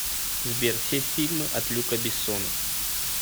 сбер все фильмы от люка бессона